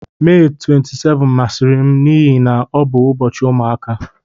Mee 27 masịrị m n'ihi na ọ bụ ụbọchị ụmụaka.